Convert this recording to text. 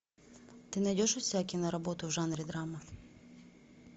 ты найдешь у себя киноработу в жанре драма